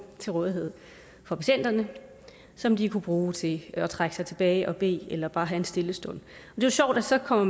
til rådighed for patienterne som de kunne bruge til at trække sig tilbage for at bede eller bare have en stille stund det er sjovt at så kommer